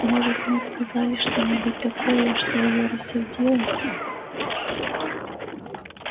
может мы сказали что-нибудь такое что её рассердило